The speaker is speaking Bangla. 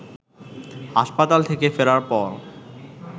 হাসপাতাল থেকে ফেরার পর